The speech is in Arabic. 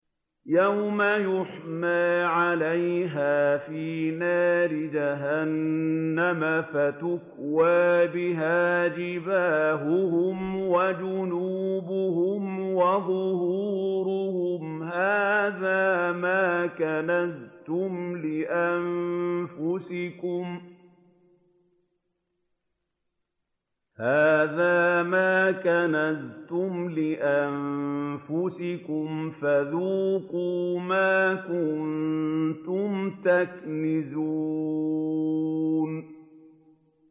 يَوْمَ يُحْمَىٰ عَلَيْهَا فِي نَارِ جَهَنَّمَ فَتُكْوَىٰ بِهَا جِبَاهُهُمْ وَجُنُوبُهُمْ وَظُهُورُهُمْ ۖ هَٰذَا مَا كَنَزْتُمْ لِأَنفُسِكُمْ فَذُوقُوا مَا كُنتُمْ تَكْنِزُونَ